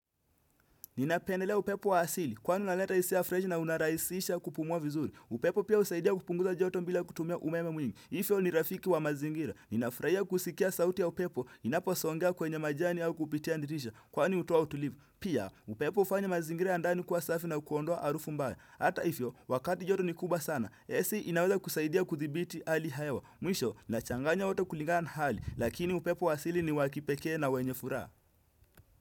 Ninapendelea upepo wa asili, kwani unaleta hisia freshi na unarahisisha kupumua vizuri. Upepo pia husaidia kupunguza joto bila kutumia umeme mwingi. Hivyo ni rafiki wa mazingira, ninafurahia kusikia sauti ya upepo, inaposongea kwenye majani au kupitia dirisha, kwani hutoa utulivu. Pia, upepo hufanya mazingira ya ndani kuwa safi na kuondoa harufu mbaya. Hata hivyo, wakati joto ni kubwa sana, AC inaweza kusaidia kuthibiti hali ya hewa. Mwisho, nachanganya wote kulingana na hali, lakini upepo wa asili ni wa kipekee na wenye furaha.